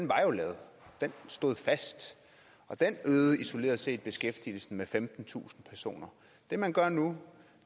var jo lavet den stod fast og den øgede isoleret set beskæftigelsen med femtentusind personer det man gør nu